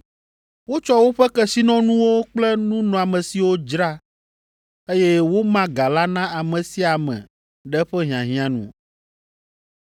wotsɔ woƒe kesinɔnuwo kple nunɔamesiwo dzra, eye woma ga la na ame sia ame ɖe eƒe hiahiã nu.